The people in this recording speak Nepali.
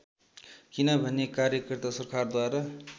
किनभने कार्यकर्ता सरकारद्वारा